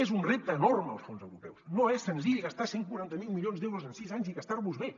és un repte enorme els fons europeus no és senzill gastar cent i quaranta miler milions d’euros en sis anys i gastar los bé